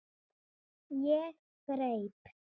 Ég greip